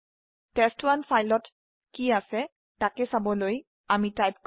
test one ত কি আছে তাক চাবলৈ লিখক